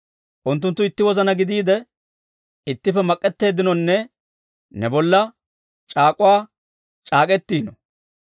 Unttunttu itti wozana gidiide, ittippe mak'ettiinonne, ne bolla c'aak'uwaa c'aak'k'etiino.